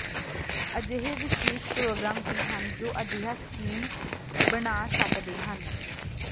ਅਜਿਹੇ ਵਿਸ਼ੇਸ਼ ਪ੍ਰੋਗਰਾਮ ਵੀ ਹਨ ਜੋ ਅਜਿਹਾ ਸਕੀਮ ਬਣਾ ਸਕਦੇ ਹਨ